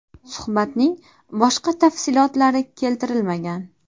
Suhbatning boshqa tafsilotlari keltirilmagan.